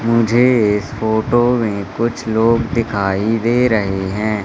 मुझे इस फोटो में कुछ लोग दिखाई दे रहे हैं।